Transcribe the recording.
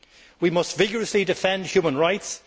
We must vigorously defend human rights.